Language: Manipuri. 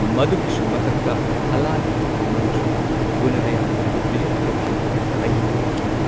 ꯃꯗꯨꯒꯤꯁꯨ ꯃꯊꯛꯇ ꯍꯥꯂꯥꯒꯤ ꯃꯟꯇ꯭ꯔꯤ, ꯒꯨꯅꯥꯙ꯭ꯌꯥꯅꯥ ꯕ꯭ꯔꯤꯍꯠꯀꯊꯥꯒꯤ ꯑꯏꯕ ꯑꯣꯏꯈꯤ꯫